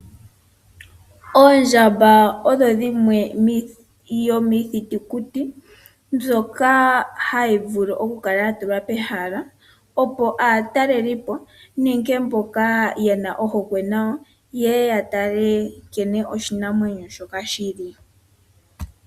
Oondjamba odho dhimwe yomiithitukuti mbyoka hayi vulu omukala ya tulwa pehala, opo aatalelipo nenge mboka yena ohokwe nayo yeye ya tale nkene oshinamwenyo shoka shili.